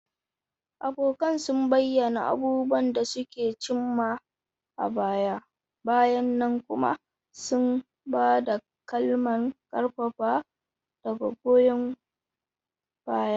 Abokan sun bayyana abubuwan da suka cim ma a baya-bayan nan kuma sun ba da kalaman ƙarfafawa da goyon baya.